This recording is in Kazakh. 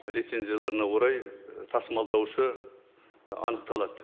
лицензияларына орай і тасымалдаушы і анықталады